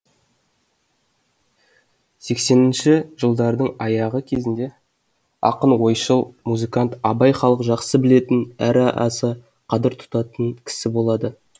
сексенінші жылдардың аяғы кезінде ақын ойшыл музыкант абай халық жақсы білетін әрі аса қадыр тұтатын кісі болады